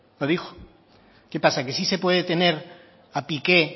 lo dijo qué pasa que sí se puede tener a piqué